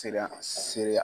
Teran sereya.